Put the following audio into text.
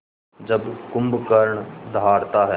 जब कुंभकर्ण दहाड़ता है